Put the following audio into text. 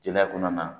Jeliya kɔnɔna na